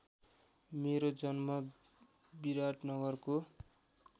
मेरो जन्म विराटनगरको